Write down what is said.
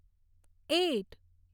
eight